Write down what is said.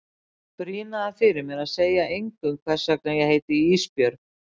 Þau brýna það fyrir mér að segja engum hvers vegna ég heiti Ísbjörg.